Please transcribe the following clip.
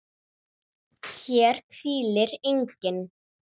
HÉR HVÍLIR ENGINN